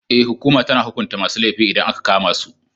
Ee, hukuma tana hukunta masu laifi idan aka kama su.